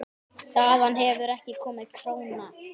Þaðan hefur ekki komið króna.